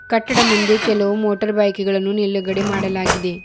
ಕಟ್ಟಡ ಮುಂದೆ ಕೆಲವು ಮೋಟಾರ್ ಬೈಕ್ ಗಳನ್ನು ನಿಲುಗಡೆ ಮಾಡಲಾಗಿದೆ.